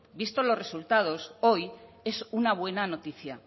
vistos los resultados hoy es una buena noticia